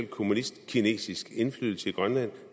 kommunistkinesisk indflydelse i grønland